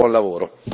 buon lavoro.